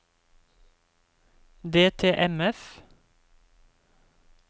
DTMF